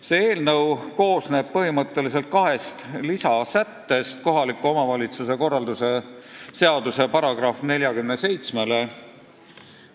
See eelnõu koosneb põhimõtteliselt kohaliku omavalitsuse korralduse seaduse § 47 kahest lisasättest.